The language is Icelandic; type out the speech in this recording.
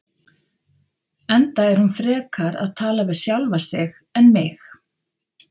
Enda er hún frekar að tala við sjálfa sig en mig.